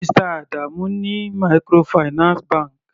Mr Adamu ní microfinance bank.